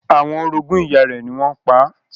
Àwọn orogún ìyá rẹ̀ ni wọ́n pa á.